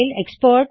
export